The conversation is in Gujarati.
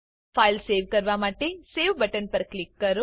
ફાઈલ સેવ કરવા માટે સવે બટન પર ક્લિક કરો